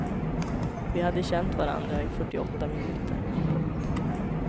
Vi hade känt varandra i fyrtioåtta minuter. punkt